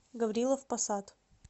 гаврилов посад